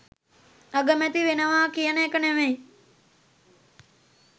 අගමැති වෙනවා කියන එක නොවෙයි.